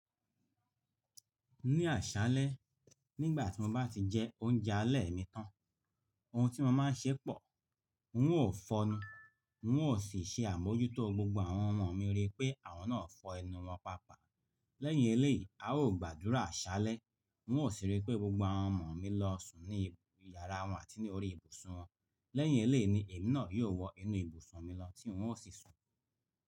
Ní àṣálẹ́, nígbà tí mo bá ti jẹ oúnjẹ alẹ́ mi tán, ohun tí mo máa ṣẹ pọ̀, n ó fọnu, n ó sì ṣe àmójútó gbogbo àwọn ọmọ mi rí pé àwọn náà fọ ẹnu wọn paapaa. Lẹ́yìn eléyìí, a ó gbàdúrà àṣálẹ́, n ó sì rí pé gbogbo àwọn ọmọ mi lọ sùn ní ibi yàrá wọn àti ní orí ibùsùn wọn. Lẹ́yìn eléyìí ni èmi náà yóò wọ inú ibùsùn mi lọ tí n ó sì sùn.